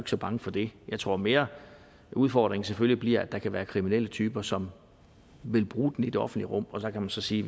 så bange for det jeg tror mere at udfordringen selvfølgelig bliver at der kan være kriminelle typer som vil bruge den i det offentlige rum og der kan man så sige